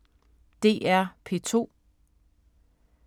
DR P2